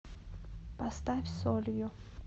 поставь солью